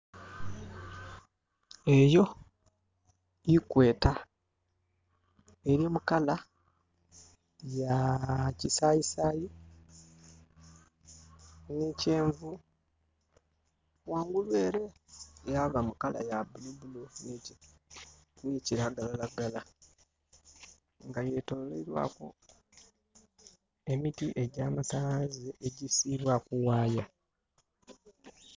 Eyo Equator. Eri mu color ya kisayisayi ne kyenvu wangulu ere yaba mu color ya bulu bulu ni kiragala lagala nga yetolerwaiku emiti egya masanalaze egisibibwaku waaya